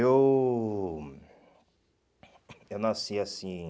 Eu... Eu nasci assim...